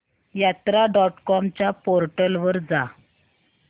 यात्रा dot com च्या portal वर जा